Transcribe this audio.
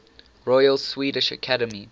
royal swedish academy